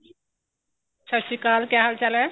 ਸਤਿ ਸ਼੍ਰੀ ਅਕਾਲ ਕਿਆ ਹਾਲ ਚਲ ਏ